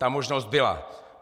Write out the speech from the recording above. Ta možnost byla.